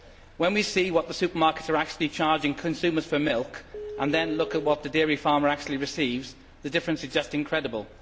When we see what the supermarkets are charging consumers for milk, and then look at what the dairy farmer actually receives, the difference is just incredible.